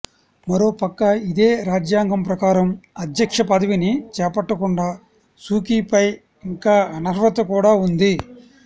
మరోపక్క ఇదే రాజ్యాంగం ప్రకారం అధ్యక్ష పదవిని చేపట్టకుండా సూకీపై ఇంకా అనర్హత కూడా ఉంది